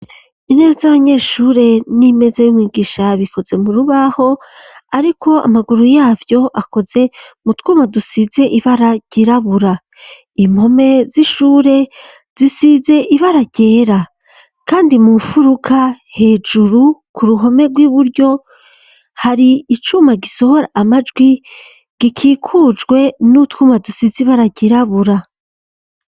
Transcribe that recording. Intebe z'abanyeshure n'imeze y'umwibwisha bikoze mu rubaho ariko amaguru yavyo akoze mu twuma dusize ibaragirabura, impome z'ishure zisize ibaragera, kandi mu furuka hejuru ku ruhome rw'iburyo hari icuma gisohora amajwi gikikujwe n'utwuma dusizi baragirabura mfuruka hejuru ku ruhome rw'iburyo, hari icuma gisohora amajwi gikikujwe n'utwuma dusize irangi ry'irabura.